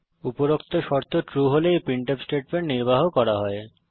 উপরোক্ত শর্ত ট্রু হলে এই প্রিন্টফ স্টেটমেন্ট নির্বাহ করা হবে